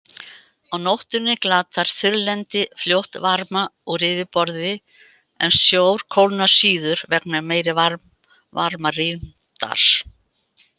Á nóttunni glatar þurrlendi fljótt varma úr yfirborði, en sjór kólnar síður vegna meiri varmarýmdar.